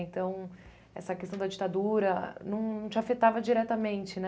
Então, essa questão da ditadura não não te afetava diretamente, né?